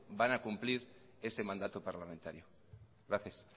van a cumplir ese mandato parlamentario gracias